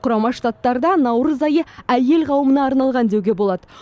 құрама штаттарда наурыз айы әйел қауымына арналған деуге болады